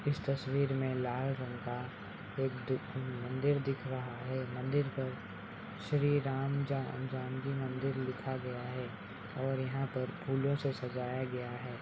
इस तस्वीर मे लाल रंग का एक डी मंदिर दिख रहा है मंदिर पर श्री राम जा जानकी मंदिर लिखा गया है और यहा पे फूलों से सजाया गया है|